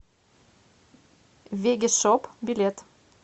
вегги шоп билет